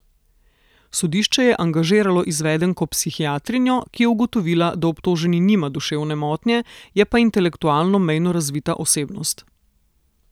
Sodišče je angažiralo izvedenko psihiatrinjo, ki je ugotovila, da obtoženi nima duševne motnje, je pa intelektualno mejno razvita osebnost.